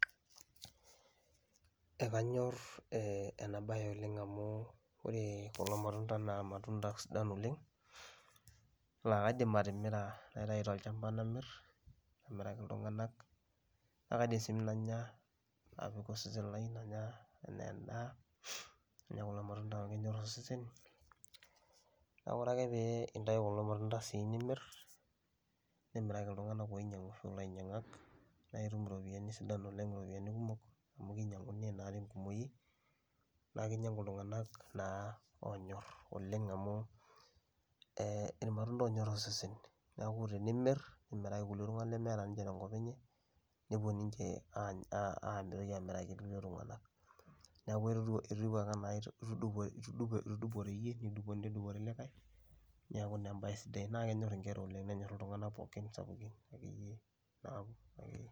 Ekanyor enabae oleng' amu ore kulo matunda naa matunda sidan oleng, la kaidim atimira naitayu tolchamba namir, amiraki iltung'anak. Na kaidim si nanya apik osesen lai, nanya enaa endaa, nanya kulo matunda amu kenyor osesen. Na ore ake pee intau kulo matunda si nimir, nimiraki iltung'anak loinyang'isho ilainyang'ak, na itum iropiyiani sidan oleng, iropiyiani kumok amu kinyang'uni naa tenkumoyu, na kinyang'u iltung'anak naa onyor okeng' amu, eh irmatunda onyor osesen. Neeku tenimir, nimiraki kulie tung'anak lemetaa ninche tenkop enye, nepuo ninche aigil amiraki kulie tung'anak. Neeku etiu ake enaa itudupore yie, nedupore likae, neeku naa ebae sidai, naa kenyor inkera oleng nenyor iltung'anak sapukin.